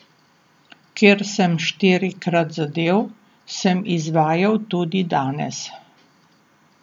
Ker sem štirikrat zadel, sem izvajal tudi danes.